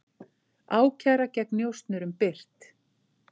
Ákæra gegn njósnurum birt